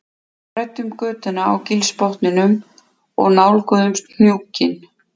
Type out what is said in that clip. Við þræddum götuna á gilsbotninum og nálguðumst hnúkinn